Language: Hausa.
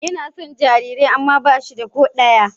Yana son jarirai amma ba shi da ko ɗaya